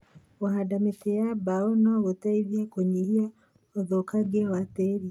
Kũhanda mĩtĩ ya mbao no gũteithie kũnyihia ũthũkangia wa tĩĩri.